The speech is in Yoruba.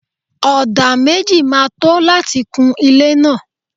Ọdà méjì ma tó láti kun ilé náà.